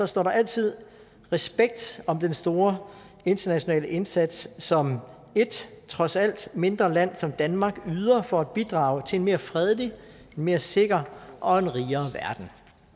står der altid respekt om den store internationale indsats som et trods alt mindre land som danmark yder for at bidrage til en mere fredelig en mere sikker og en rigere verden